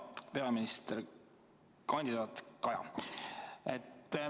Hea peaministrikandidaat Kaja!